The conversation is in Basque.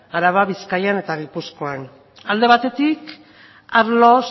araban bizkaian eta gipuzkoan alde batetik arlo